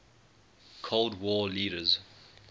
cold war leaders